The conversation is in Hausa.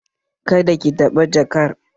Kada ki taɓa jakar!